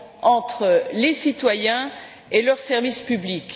entre les citoyens et leurs services publics.